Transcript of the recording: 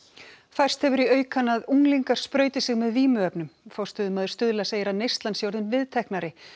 færst hefur í aukana að unglingar sprauti sig með vímuefnum forstöðumaður Stuðla segir að neyslan sé orðin viðteknari